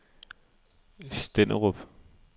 Stenderup